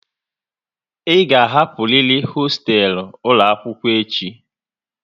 Ị ga hapụriri hoostelu ụlọ akwụkwọ echi!